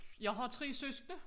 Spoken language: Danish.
Jeg har 3 søskende